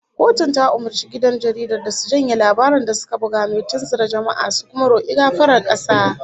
Kotun ta umurci gidan jaridar da su janye labarin da suka buga mai tunzura jama'a, su kuma roki gafarar kasa